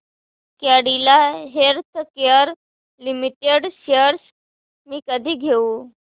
Cadila Healthcare Limited shares मी कधी घेऊ